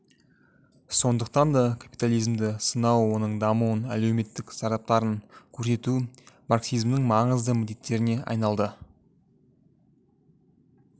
сондықтан да капитализмді сынау оның дамуының әлеуметтік зардаптарын көрсету марксизмнің маңызды міндеттеріне айналды